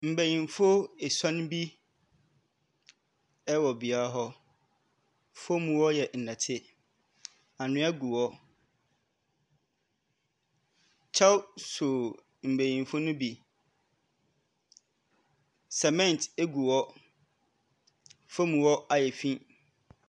Mbenyimfo esɔn bi wɔ beae hɔ. Fam hɔ yɛ nnɛte, anhwea gu hɔ. Kyɛw so mbenyimfo no bi. Cement gu hɔ, fam hɔ ayɛ fi.